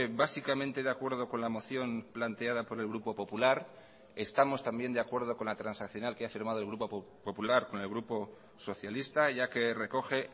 básicamente de acuerdo con la moción planteada por el grupo popular estamos también de acuerdo con la transaccional que ha firmado el grupo popular con el grupo socialista ya que recoge